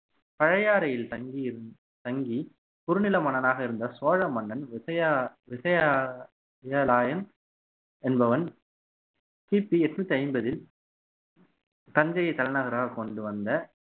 பழையாறையில் தங்கியிருந்து தங்கி குறுநில மன்னனாக இருந்த சோழ மன்னன் விஜய விஜய~விஜயலாயன் என்பவன் கிபி எண்ணூத்தி ஐம்பதில் தஞ்சையை தலைநகராக கொண்டு வந்த